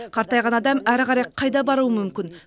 қартайған адам әрі қарай қайда баруы мүмкін